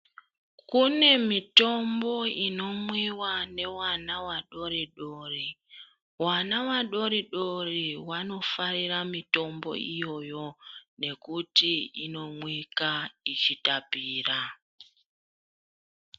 Kune mitombo inomwiwa nevana vadori dori. Vana vadori dori vanofarira mitombo iyoyo nekuti inomwika ichitapira.